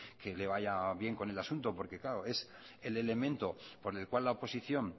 que le vaya bien con el asunto porque claro es el elemento por el cual la oposición